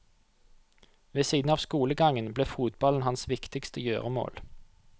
Ved siden av skolegangen ble fotballen hans viktigste gjøremål.